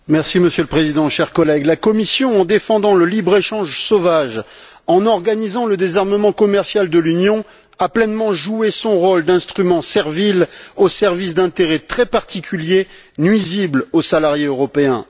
Monsieur le Président, chers collègues, la Commission, en défendant le libre échange sauvage, en organisant le désarmement commercial de l'Union, a pleinement joué son rôle d'instrument servile au service d'intérêts très particuliers, nuisibles aux salariés européens.